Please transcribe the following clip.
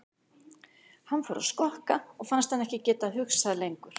Hann fór að skokka og fannst hann ekki geta hugsað lengur.